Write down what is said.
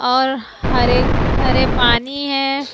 और हरे हरे पानी है।